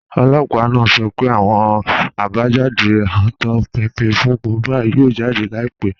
Ọlọ́pà naa sọ̀ pẹ̀ àwọn àbájàdé autopsi fún Mohbad yóò jáde láìpẹ̀.